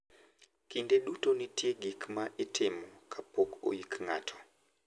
Kinde duto nitie gik ma itimo kapok oyik ng`ato.